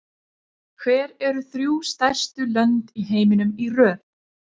Hver eru þrjú stærstu lönd í heiminum í röð?